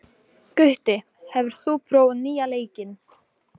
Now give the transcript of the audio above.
Gutti, hefur þú prófað nýja leikinn?